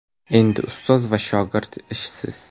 Endi ustoz va shogird ishsiz.